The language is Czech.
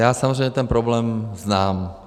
Já samozřejmě ten problém znám.